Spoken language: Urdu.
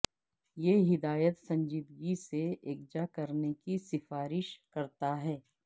یہ ہدایت سنجیدگی سے یکجا کرنے کی سفارش کرتا ہے